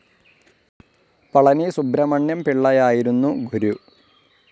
പളനി സുബ്രമണ്യം പിള്ളയായിരുന്നു ഗുരു.